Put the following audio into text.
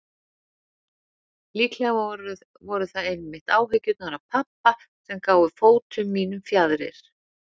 Líklega voru það einmitt áhyggjurnar af pabba sem gáfu fótum mínum fjaðrir.